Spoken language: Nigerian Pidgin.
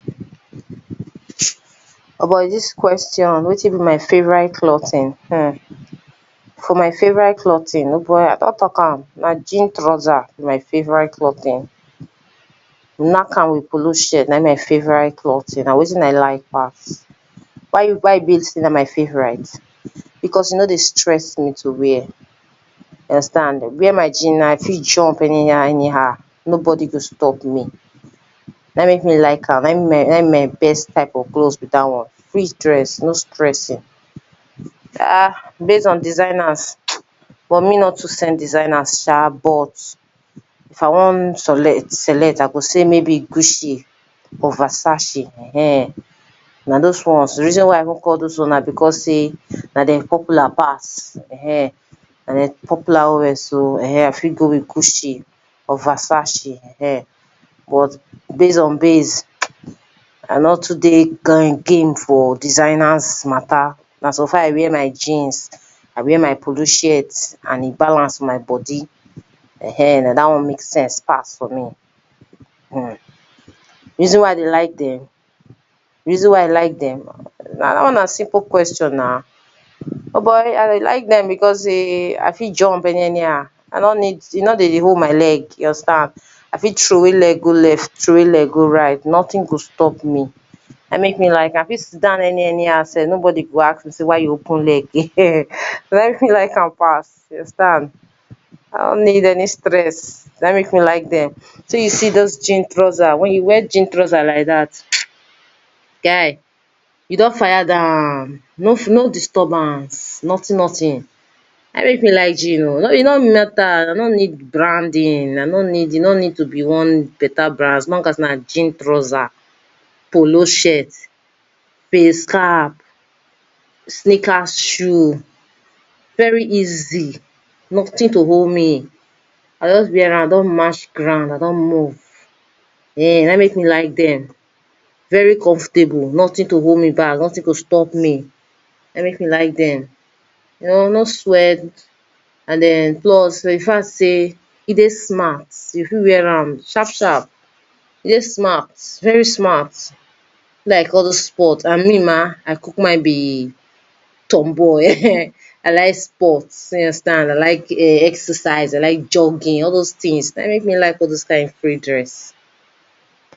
O boy dis question wetin be my favorite clothing, for my favorite clothing o boy I don talk am na jean trouser be my favorite clothing nack am polo shirt, na im be my favorite clothing na wetin I like pass why e be sey na my favo rite? Because e no dey stress me to where, you understand wear my jeans now I fit jump anyhow anyhow no body go stop me na im make me like am, na im be my na im be my best type of clothe be dat one free dress, no stressing. [urn] based on designers but me nor too send designers sha, but if I wan solect, select I go sey may be Gucci or Versace ehen na doz ones, di reason I even call doz ones na because sey na dem popular pass ehen na dem popular well well so I fit go with Gucci or Versace ehen but base on base, I nor too dey go again for designers matter na suffer sey I wear my jeans I wear my polo shirt and e balance for my body ehen na dat one make sense pass for me. Di reason why I dey like dem, di reason why I like dem, dat one na simple question na, o boy I dey like dem because sey I fit jump any anyhow e no need, e bo dey hold my leg, you understand I fit trow wey leg go left, trow wey leg go right nothing go stop me na im make me like dem, I fit sit down any anyhow sef, nobody go ask me sey why you open leg na im make me like am pass, you understand I nor need any stress, na im make me like dem, shey you see doz jean trouser, wen you wear jean trouser like dat, guy you don fire down, no disturbance nothing nothing na im make me like jean oh, e no matter e no need branding, e no need to be one better brand, as long as na jean trouser, polo shirt, face cap, snickers shoe, very easy, nothing to hold me, I don wear am, I don match ground I don move, na im make me like dem, very comfortable, nothing to hold me back nothing to stop me, na im make me like dem, no swell and plus di fact sey e dey smart, you fit wear am sharp sharp, e dey smart, very smart be like all doz sports and me ma, I kukuma be turn boy ehen, I like sorts you understand I like exercises, I like jogging all doz kind things, na im make me like all doz kind free dress.